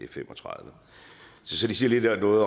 fem og tredive så det siger noget